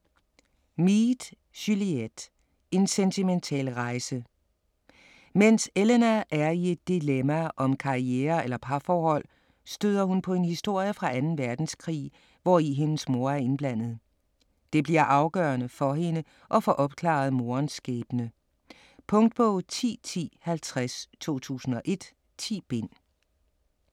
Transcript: Mead, Juliette: En sentimental rejse Mens Elena er i et dilemma om karriere eller parforhold, støder hun på en historie fra 2. verdenskrig, hvori hendes mor er indblandet. Det bliver afgørende for hende at få opklaret moderens skæbne. Punktbog 101050 2001. 10 bind.